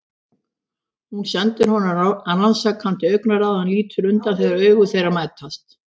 Hún sendir honum rannsakandi augnaráð en lítur undan þegar augu þeirra mætast.